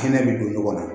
Hinɛ bi don ɲɔgɔn na